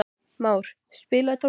Már, spilaðu tónlist.